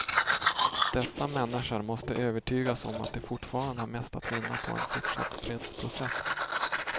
Dessa människor måste övertygas om att de fortfarande har mest att vinna på en fortsatt fredsprocess.